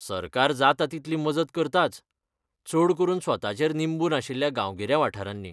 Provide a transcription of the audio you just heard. सरकार जाता तितली मजत करताच, चड करून स्वताचेर निंबून आशिल्ल्या गांवगिऱ्या वाठारांनी.